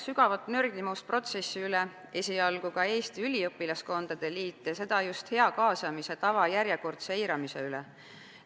Sügavat nördimust protsessi üle väljendas esialgu ka Eesti Üliõpilaskondade Liit, ja seda just hea kaasamise tava järjekordse eiramise pärast.